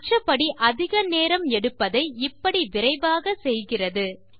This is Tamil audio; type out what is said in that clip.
மற்றபடி அதிக நேரம் எடுப்பதை இப்படி விரைவாக செய்கிறது